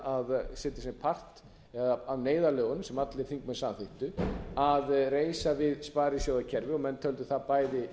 að setja sér part af neyðarlögunum sem allir þingmenn samþykktu að reisa við sparisjóðakerfið og menn töldu það bæði